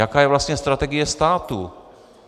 Jaká je vlastně strategie státu?